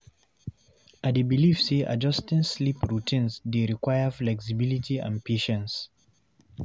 I dey believe say adjusting sleep routines dey require flexibility and patience.